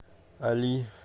али